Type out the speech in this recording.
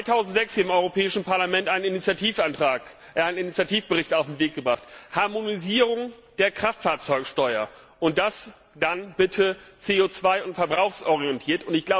Wir haben 2006 im Europäischen Parlament einen Initiativbericht auf den Weg gebracht Harmonisierung der Kraftfahrzeugsteuer und das dann bitte CO und verbrauchsorientiert.